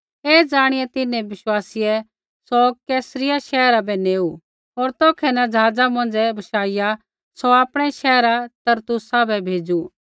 ऐ ज़ाणिआ तिन्हैं विश्वासीयै सौ कैसरिया शैहरा बै नेऊ होर तौखै न ज़हाज़ा मौंझ़ै बशाइआ सौ आपणै शैहर तरसुसा बै भेज़ू